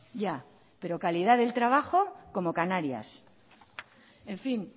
ya pero calidad del trabajo como canarias en fin